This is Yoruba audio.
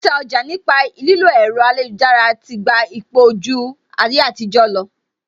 Títa ọjà nípa lílo ẹ̀rọ ayélujára ti gba ipò ju ti ayétijọ lọ